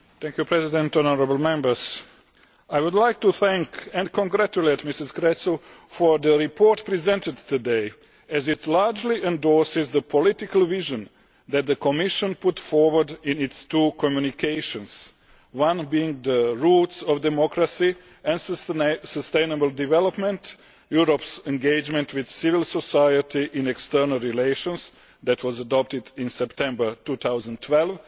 Mr President, honourable Members, I would like to thank and congratulate Mrs Creţu for the report presented today, as it largely endorses the political vision that the Commission put forward in its two Communications one being The roots of democracy and sustainable development Europe's engagement with Civil Society in external relations', which was adopted in September 2012,